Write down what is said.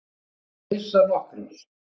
Þú mátt missa nokkrar.